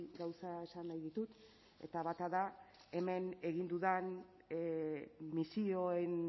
gauza esan nahi ditut eta bata da hemen egin dudan misioen